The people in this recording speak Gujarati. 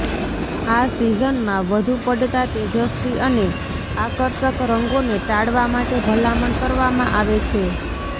આ સિઝનમાં વધુ પડતા તેજસ્વી અને આકર્ષક રંગોને ટાળવા માટે ભલામણ કરવામાં આવે છે